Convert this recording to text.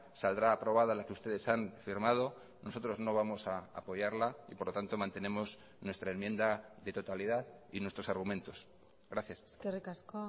saldrá aprobada la que ustedes han firmado nosotros no vamos a apoyarla y por lo tanto mantenemos nuestra enmienda de totalidad y nuestros argumentos gracias eskerrik asko